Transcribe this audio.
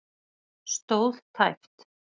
Stóð tæpt